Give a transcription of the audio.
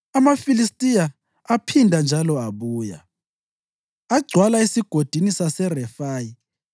AmaFilistiya aphinda njalo abuya, agcwala eSigodini saseRefayi;